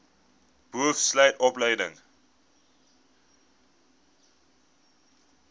boov sluit opleiding